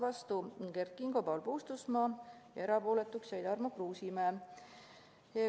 Vastu olid Kert Kingo ja Paul Puustusmaa ja erapooletuks jäi Tarmo Kruusimäe.